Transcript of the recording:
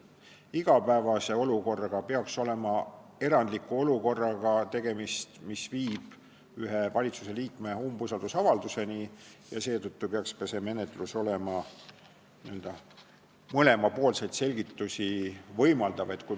– igapäevase olukorraga, see peaks olema erandlik olukord, mis viib ühe valitsusliikme suhtes umbusalduse avaldamiseni, ja seetõttu peaks ka see menetlus olema n-ö mõlemapoolseid selgitusi võimaldav.